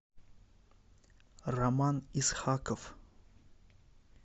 роман исхаков